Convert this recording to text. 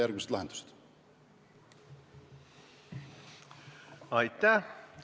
Aitäh!